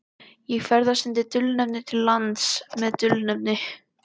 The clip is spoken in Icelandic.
Ég ferðast undir dulnefni til lands með dulnefni.